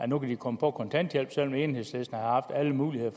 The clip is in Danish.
nu kan komme på kontanthjælp selv om enhedslisten har haft alle muligheder